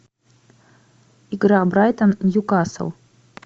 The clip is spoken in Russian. игра брайтон ньюкасл